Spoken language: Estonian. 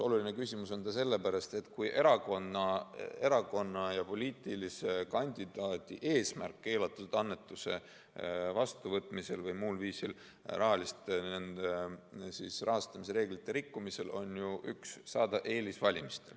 Oluline küsimus on see sellepärast, et erakonna ja poliitilise kandidaadi eesmärk keelatud annetuse vastuvõtmisel või muul viisil rahastamisreeglite rikkumisel on ju saada eelis valimistel.